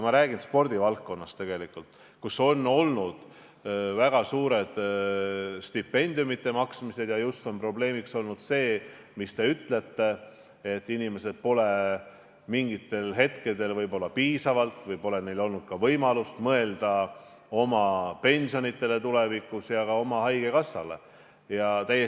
Ma räägin spordivaldkonnast, kus on olnud väga suured stipendiumide maksmised ja probleemiks on olnud just nimelt see, mis teiegi ütlete: inimestel pole mingitel hetkedel olnud võib-olla piisavalt võimalust mõelda oma tuleviku pensionile ja ka haigekassa kindlustusele.